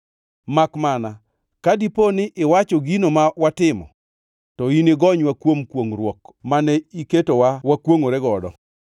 Makmana, ka dipo ni iwacho gino ma watimo, to inigonywa kuom kwongʼruok mane iketowa wakwongʼore godo.”